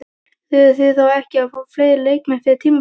Þurfið þið þá ekki að fá fleiri leikmenn fyrir tímabilið?